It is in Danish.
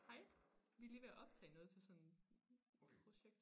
Hej vi lige ved at optage noget til sådan projekt